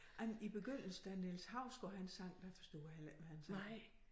Ej men i begyndelsen da Niels Hausgaard han sang der forstod jeg heller ikke hvad han sagde